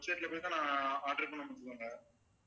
website ல போய்ட்டேன் ஆனா order பண்ண முடியலங்க